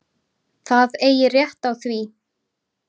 Það eigi rétt á því.